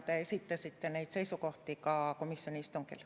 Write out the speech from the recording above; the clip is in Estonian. Te esitasite neid seisukohti ka komisjoni istungil.